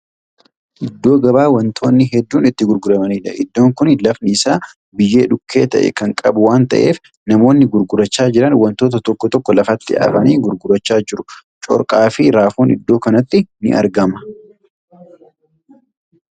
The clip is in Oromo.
Iddoo gabaa wantoonni hedduun itti gurguramaniidha. iddoon. kuni lafni Isaa biyyee dhukkee ta'e Kan qabu waan ta'eef namoonni gurgurachaa Jiran wantoota tokko tokko lafatti afanii gurgurachaa jiru. corqaa Fi raafuun iddoo kanatti ni argama.